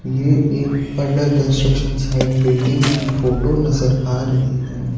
ये एक under construction site building की फोटो नजर आ रही है।